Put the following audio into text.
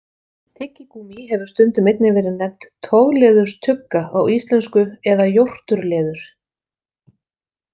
Tyggigúmmí hefur stundum einnig verið nefnt togleðurstugga á íslensku eða jórturleður.